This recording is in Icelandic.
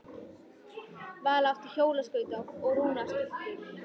Vala átti hjólaskauta og Rúna stultur.